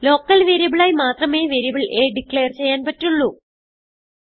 local വേരിയബിളായി മാത്രമേ variable a declare ചെയ്യാൻ പറ്റുള്ളൂ